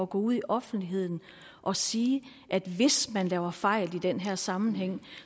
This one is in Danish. gå ud i offentligheden og sige at hvis man laver fejl i den her sammenhæng